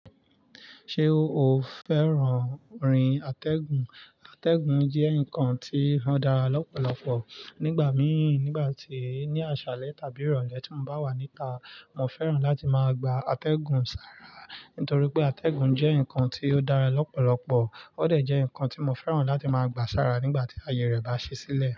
Ṣé o fẹ́ràn orin atẹ́gùn? Atẹ́gùn jẹ́ nǹkan tí ó dára lọ́pọ̀lọpọ̀. Nígbà mìí, nígbà tí, ní àṣálẹ́ tàbí ìrọ̀lẹ́ tí mo bá wà níta, mo fẹ́ràn láti máa gba atẹ́gùn sára. Nítorípé atẹ́gùn jẹ́ ǹkan tí ó dára lọ́pọ̀lọpọ̀, ó dẹ̀ jẹ́ ǹkan tí mo fẹ́ràn láti máa gbà sára nígbà tí àyè rẹ̀ bá ṣí sílẹ̀.